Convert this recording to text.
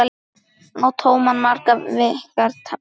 Á tóman maga virkar matar